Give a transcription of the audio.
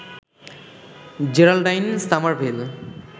Geraldine Summerville